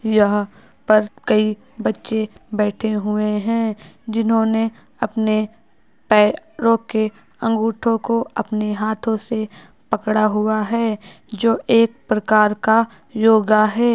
यहा पे कई बच्चे बेठे हुए है जिन्होंने अपने पैरों के अंगूठो को आपने हाथों से पकड़ा हुवा है जो एक प्रकार का योगा है ।